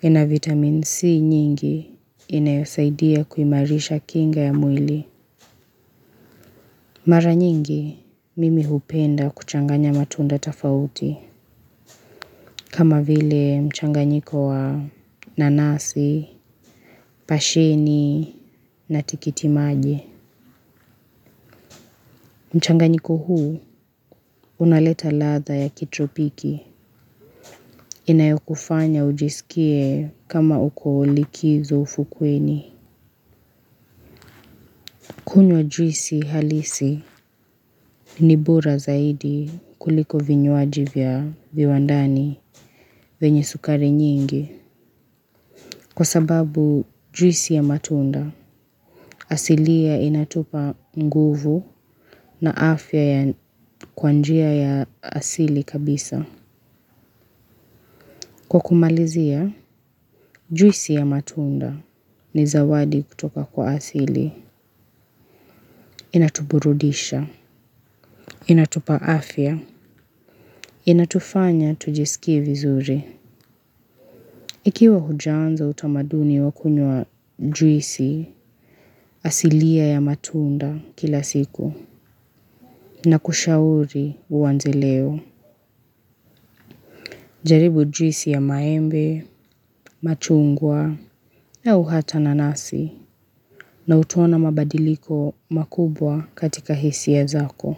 Ina vitamin C nyingi inayosaidia kuimarisha kinga ya mwili. Mara nyingi, mimi hupenda kuchanganya matunda tofauti. Kama vile mchanganyiko wa nanasi, pasheni na tikiti maji. Mchanganyiko huu, unaleta ladha ya kitropiki. Inayokufanya ujisikie kama uko likizo ufukweni kunywa juisi halisi ni bora zaidi kuliko vinywaji vya viwandani venye sukari nyingi. Kwa sababu juisi ya matunda asili inatupa nguvu na afya kwa njia ya asili kabisa. Kwa kumalizia juisi ya matunda ni zawadi kutoka kwa asili inatuburudisha, inatupa afya, inatufanya tujisikie vizuri. Ikiwa hujaanza utamaduni wa kunywa juisi, asilia ya matunda kila siku, nakushauri uanze leo, jaribu juisi ya maembe, machungwa, au hata nanasi, na utaona mabadiliko makubwa katika hisia zako.